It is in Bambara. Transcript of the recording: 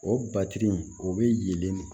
O batiri in o bɛlen